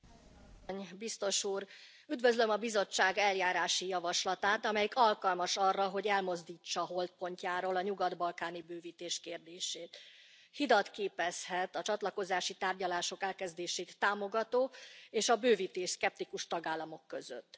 Elnök Asszony, Biztos Úr! Üdvözlöm a Bizottság eljárási javaslatát, amelyik alkalmas arra, hogy elmozdítsa holtpontjáról a nyugat balkáni bővítés kérdését. Hidat képezhet a csatlakozási tárgyalások elkezdését támogató és a bővítésszkeptikus tagállamok között.